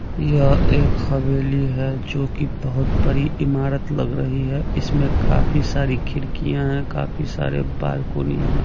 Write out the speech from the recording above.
यह एक हवेली है जोकि बहोत बड़ी इमारत लग रही है इसमें काफी सारी खिड़कियां है काफी सारे बालकोनी है।